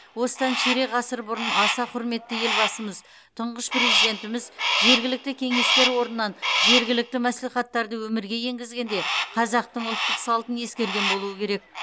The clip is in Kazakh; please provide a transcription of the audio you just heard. осыдан ширек ғасыр бұрын аса құрметті елбасымыз тұңғыш президентіміз жергілікті кеңестер орнынан жергілікті мәслихаттарды өмірге енгізгенде қазақтың ұлттық салтын ескерген болуы керек